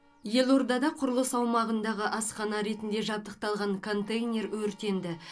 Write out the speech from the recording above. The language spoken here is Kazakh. елордада құрылыс аумағындағы асхана ретінде жабдықталған контейнер өртенді